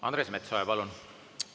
Andres Metsoja, palun!